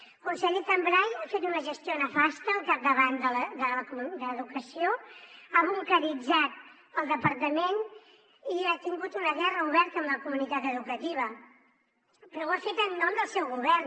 el conseller cambray ha fet una gestió nefasta al capdavant d’educació ha bunqueritzat el departament i ha tingut una guerra oberta amb la comunitat educativa però ho ha fet en nom del seu govern